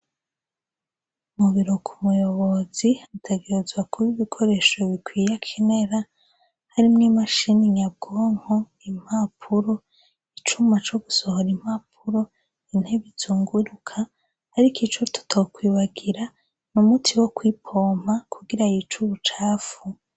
Mubiro kubuyobozi hategerezwa kub' ibikoresho bikwiy' akenera, harimwo i mashini nyabwonko, impapuro, icuma cogusohor' impapuro, inteb'izunguruk' arik' ico tutokwibagira n' umuti wokwipompa kugira yic'ubucafu.